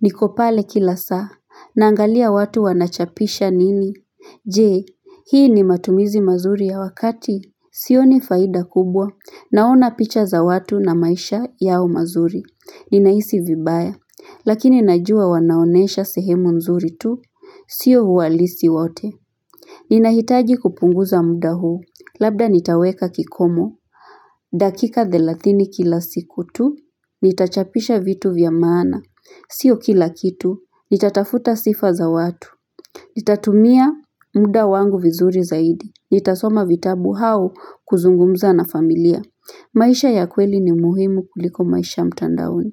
Niko pale kila saa, naangalia watu wanachapisha nini Je, hii ni matumizi mazuri ya wakati? Sioni faida kubwa, naona picha za watu na maisha yao mazuri. Ninahisi vibaya, lakini najua wanaonesha sehemu nzuri tu, sio ualisi wote. Ninahitaji kupunguza muda huu, labda nitaweka kikomo. Dakika thelathini kila siku tu Nitachapisha vitu vya maana Sio kila kitu Nitatafuta sifa za watu Nitatumia muda wangu vizuri zaidi Nitasoma vitabu hau kuzungumza na familia maisha ya kweli ni muhimu kuliko maisha mtandaoni.